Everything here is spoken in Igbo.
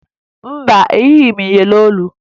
Mba, eyighi m iyeri olu